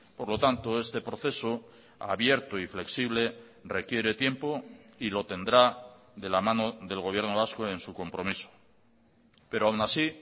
por lo tanto este proceso abierto y flexible requiere tiempo y lo tendrá de la mano del gobierno vasco en su compromiso pero aun así